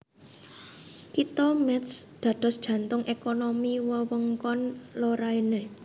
Kitha Métz dados jantung ékonomi wewengkon Lorraine